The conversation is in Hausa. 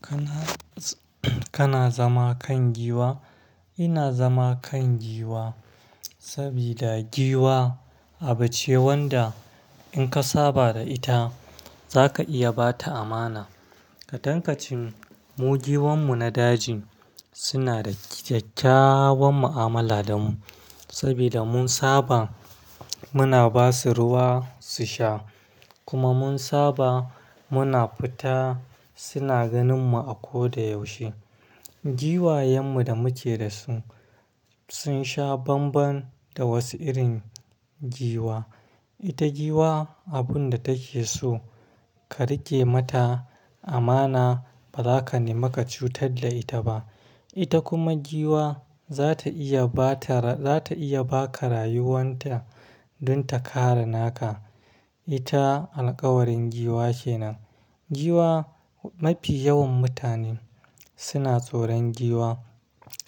Kana, kana zama kan giwa? Ina zama kan giwa sabida giwa abu ce wanda in ka saba da ita za ka iya ba ta amana. Kaɗan ka cin mu giwan mu na daji suna da kyakkyawan mu'amala da mu sabida mun saba muna ba su ruwa su sha kuma mun saba muna fita suna ganin mu a koda yaushe. Giwayen mu da muke da su sun sha banban da wasu irin giwa. Ita giwa abun da take so ka riƙe mata amana ba za ka nimaka cutar da ita ba. Ita kuma giwa za ta iya ba ta ra-- za ta iya ba ka rayuwan ta don ta kare naka. Ita alkawarin giwa kenan. Giwa mafi yawan mutane suna tsoron giwa